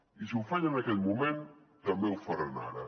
i si ho feien en aquell moment també ho faran ara